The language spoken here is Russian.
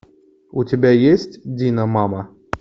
у тебя есть диномама